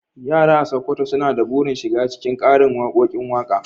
Yara a Sokoto suna da burin shiga cikin karin waƙoƙin waƙa.